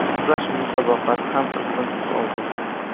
Kurash musobaqasi ham qizg‘in tus oldi.